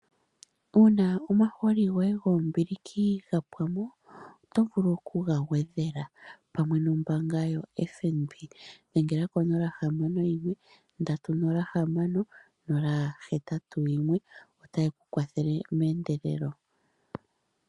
Uuna omahooli goye goombiliki ga pwa mo oto vulu okuga gwedhela pamwe nombaanga yoFNB. Dhengela ko 061 306081, otaye ku kwathele meendelelo.